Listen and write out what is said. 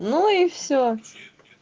ну и все